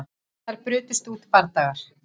Þar brutust út bardagar